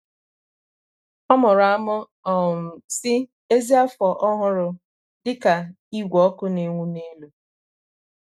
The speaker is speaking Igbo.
ọ mụrụ amụ um si " ezi afọ ọhụrụ " dika ígwè ọkụ na-enwu n'elu